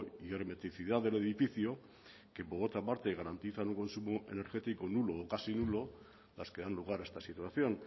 y hermeticidad del edificio que por otra parte garantizan un consumo energético nulo o casi nulo las que dan lugar a esta situación